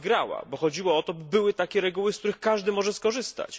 Ona wygrała, bo chodziło o to, by były takie reguły, z których każdy może skorzystać.